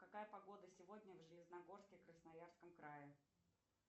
какая погода сегодня в железногорске красноярском крае